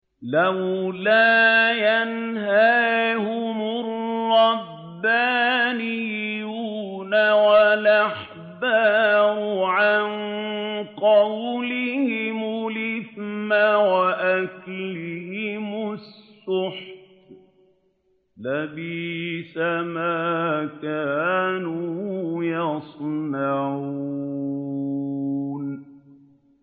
لَوْلَا يَنْهَاهُمُ الرَّبَّانِيُّونَ وَالْأَحْبَارُ عَن قَوْلِهِمُ الْإِثْمَ وَأَكْلِهِمُ السُّحْتَ ۚ لَبِئْسَ مَا كَانُوا يَصْنَعُونَ